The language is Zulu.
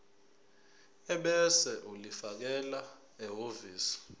ebese ulifakela ehhovisi